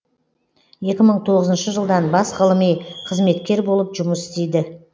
екі мың тоғызыншы жылдан бас ғылыми қызметкер болып жұмыс істейді